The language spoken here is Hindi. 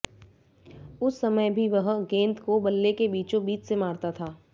उस समय भी वह गेंद को बल्ले के बीचों बीच से मारता था